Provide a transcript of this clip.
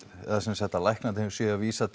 eða semsagt að læknarnir séu að vísa